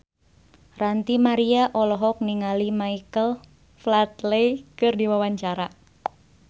Ranty Maria olohok ningali Michael Flatley keur diwawancara